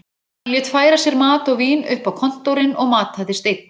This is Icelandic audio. Hann lét færa sér mat og vín upp á kontórinn og mataðist einn.